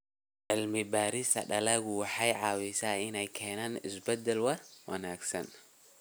Cilmi-baarista dalagga waxay caawisaa in la keeno isbeddel wanaagsan.